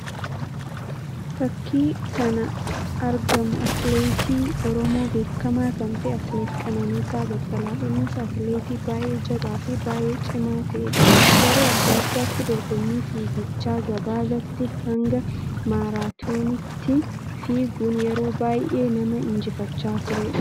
Fakkii kana argamu atileetii Oromoo beekamaa kan ta'e; atileet Qananiisaa Baqqalaa dha. Innis atileetii baayyee jabáa fi baayyee cimaa ta'ee dha. Yeroo addaa addaatti dorgommii fiigicha gabaabaatii hanga maaraatooniitti fiiguun yeroo baayyee nama injifachaa turee dha.